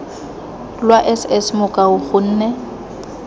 lwa s s mokua gonne